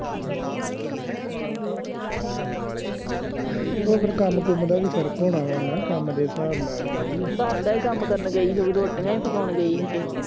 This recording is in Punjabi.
ਨਹੀਂ ਓ ਫੇਰ ਕੰਮ ਕੂਮ ਦਾ ਵੀ ਫਰਕ ਹੋਣਾ ਵਾ ਨਾ ਕੰਮ ਦੇ ਸਾਹਬ ਨਾਲ ਵੀ ਘਰ ਦਾ ਹੀ ਕੰਮ ਕਰਨ ਗਈ ਰੋਟੀਆਂ ਹੀ ਪਕਾਉਣ ਗਈ ਹੀ ਕੇਹੈ ਦਿਆ